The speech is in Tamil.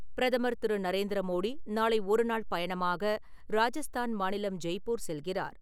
பிரதமர் திரு நரேந்திர மோடி நாளை ஒரு நாள் பயணமாக ராஜஸ்தான் மாநிலம், ஜெய்ப்பூர் செல்கிறார்.